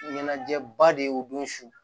Ɲɛnajɛba de y'u don su